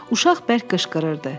Uşaq bərk qışqırırdı.